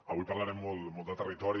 avui parlarem molt de territori